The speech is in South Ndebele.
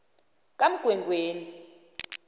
kamgwengweni